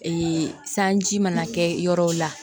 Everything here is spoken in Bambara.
Ee sanji mana kɛ yɔrɔ la